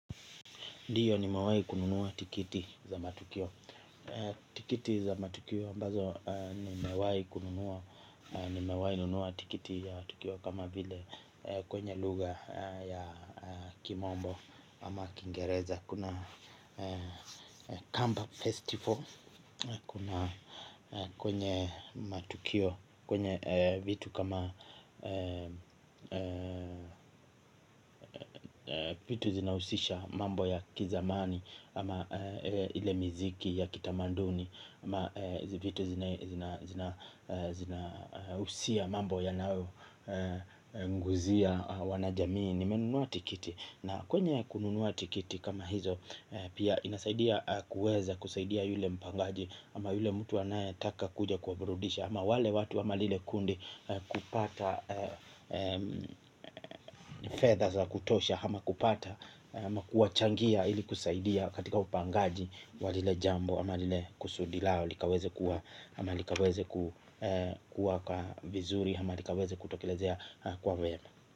Diyo ni mewai kununuwa tikiti za matukio. Tikiti za matukio ambazo ni mewai kununuwa. Ni mewai kununuwa tikiti ya tukio. Kama vile kwenye luga ya kimombo ama kingereza. Kuna kamba festival. Kuna kwenye matukio. Kwenye vitu kama vitu zinausisha mambo ya kizamani. Ama ile miziki ya kitamanduni. Ama zivitu zina usia mambo ya nao Nguzia wanajamini. Nimenuwa tikiti na kwenye kununuwa tikiti kama hizo pia inasaidia kuweza kusaidia yule mpangaji. Ama yule mtu anaye taka kuja kuburudisha. Ama wale watu ama lile kundi kupata fedha la kutosha hama kupata, hama kuwa changia ili kusaidia katika upangaji wa lile jambo, hama lile kusudi lao, likaweze kuwa hama likaweze kuwa kwa vizuri, hama likaweze kutokelezea kwa vyema.